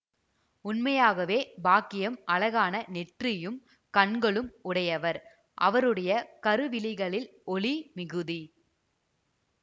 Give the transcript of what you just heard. உண்மையாகவே பாக்கியம் அழகான நெற்றியும் கண்களும் உடையவர் அவருடைய கருவிழிகளில் ஒளி மிகுதி